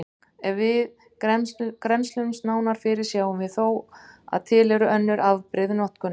Ef við grennslumst nánar fyrir sjáum við þó að til eru önnur afbrigði notkunar.